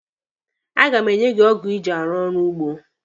A ga m enyi gị ọgụ iji arụ ọrụ ugbo.